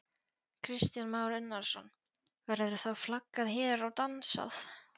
Kristján Már Unnarsson: Verður þá flaggað hér og dansað?